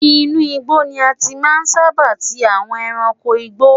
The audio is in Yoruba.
Inú igbó ni a ti máa ń sábà tí àwọn ẹranko ìgbé.